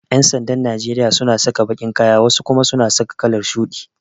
Yan'sandan Najeriya suna saka baƙin kaya wasu kuma suna saka kalar shuɗi.